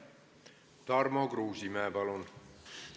Tarmo Kruusimäe, palun!